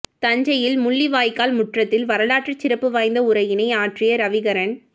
தஞ்சையில் முள்ளிவாய்க்கால் முற்றத்தில் வரலாற்றுச் சிறப்பு வாய்ந்த உரையினை ஆற்றிய ரவிகரன்